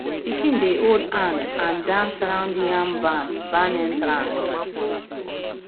pikin dey hold hand and dance round yam barn barn entrance